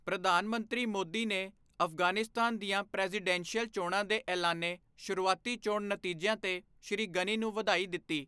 ਪ੍ਰਧਾਨ ਮੰਤਰੀ ਮੋਦੀ ਨੇ ਅਫ਼ਗ਼ਾਨਿਸਤਾਨ ਦੀਆਂ ਪ੍ਰੈਜ਼ੀਡੈਂਸ਼ੀਅਲ ਚੋਣਾਂ ਦੇ ਐਲਾਨੇ ਸ਼ੁਰੂਆਤੀ ਚੋਣ ਨਤੀਜਿਆਂ ਤੇ ਸ਼੍ਰੀ ਗ਼ਨੀ ਨੂੰ ਵਧਾਈ ਦਿੱਤੀ।